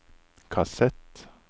kassett